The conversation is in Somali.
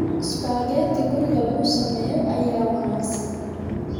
Spaghetti guriga lagu sameeyo ayaa wanaagsan.